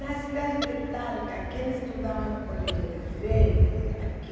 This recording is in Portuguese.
Na cidade de Talca, quem estudava no colégio de Freiras, aqui,